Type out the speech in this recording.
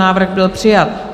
Návrh byl přijat.